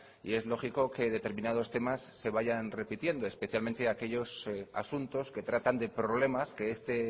y es lógico que determinados temas se vayan repitiendo especialmente aquellos asuntos que tratan de problemas que este